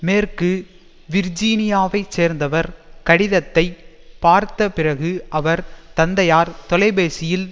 மேற்கு விர்ஜீனியாவைச் சேர்ந்தவர் கடிதத்தை பார்த்த பிறகு அவர் தந்தையார் தொலைபேசியில்